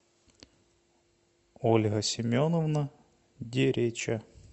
ольга семеновна дереча